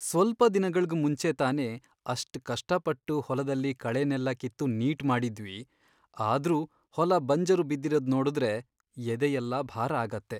ಸ್ವಲ್ಪ ದಿನಗಳ್ಗ್ ಮುಂಚೆ ತಾನೇ ಅಷ್ಟ್ ಕಷ್ಟಪಟ್ಟು ಹೊಲದಲ್ಲಿ ಕಳೆನೆಲ್ಲ ಕಿತ್ತು ನೀಟ್ ಮಾಡಿದ್ವಿ, ಆದ್ರೂ ಹೊಲ ಬಂಜರು ಬಿದ್ದಿರೋದ್ ನೋಡುದ್ರೆ ಎದೆಯೆಲ್ಲ ಭಾರ ಆಗತ್ತೆ.